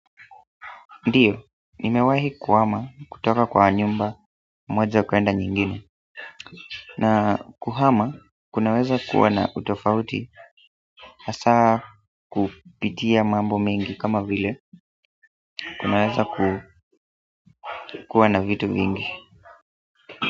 Ndiyo, nimewahi kuhama kutoka kwa nyumba moja kwenda nyingine na kuhama kunaweza kuwa na utofauti hasa kupitia mambo mengi kama vile kunaweza kuwana vitu mingi.